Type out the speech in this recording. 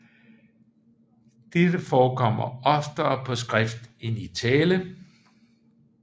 Dette forekommer oftere på skrift end i tale